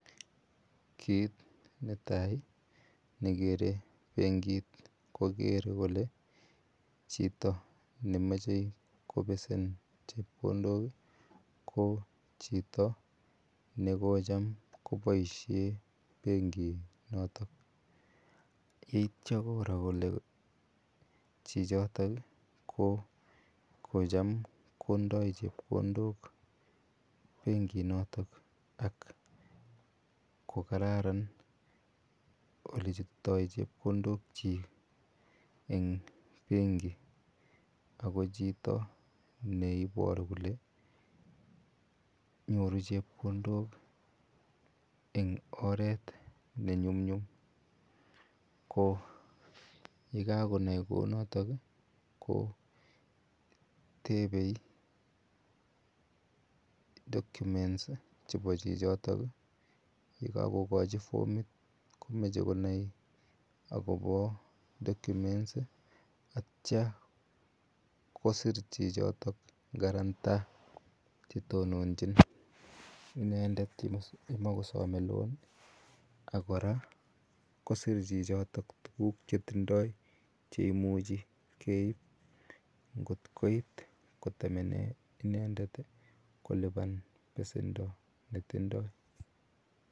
Kit netai nekere bengit kokere kole chito nemoche kobesen chepkondok ko chito nekocham koboishen benginoton yeityo koroo kole chichotok ii kokocham kondo chepkondok benginoton ak kokararan olechopto chekondokjik en benki ako chito neiboru kole nyoru chepkondok en oret nenyumnyum koyekakonai kounotok ii kotebe document chebo chichotok yekokochi formit komoche konai akobo document ak ityo kosir chichotok karantaa chetonojin inendet yemokosome loan ak koraa kosir chichotok tuguk chetindo cheimuche keib ngot koit kotemenee inendet koliban besendo netindoi.